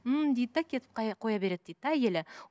ммм дейді де кетіп қоя береді дейді де әйелі